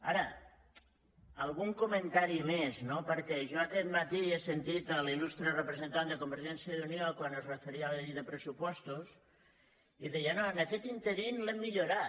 ara algun comentari més no perquè jo aquest matí he sentit l’il·lustre representant de convergència i unió quan es referia a la llei de pressupostos que deia no en aquest ínterim l’hem millorat